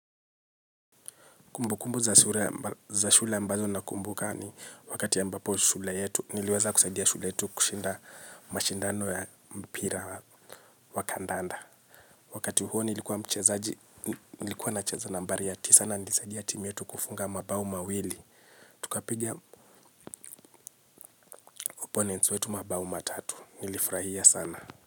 Kumbu kumbu za shule ambazo na kumbuka ni wakati yambapo shule yetu niliweza kusaidia shule yetu kushinda mashindano ya mpira wa kandanda. Wakati huo nilikuwa na cheza nambari ya ti sana nilisaidia timu yetu kufunga mabao mawili. Tukapiga opponents wetu mabao matatu nilifrahia sana.